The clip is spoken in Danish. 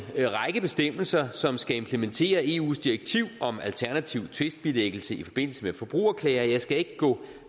række bestemmelser som skal implementere eus direktiv om alternativ tvistbilæggelse i forbindelse med forbrugerklager jeg skal ikke gå